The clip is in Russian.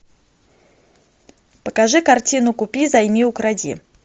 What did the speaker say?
покажи картину купи займи укради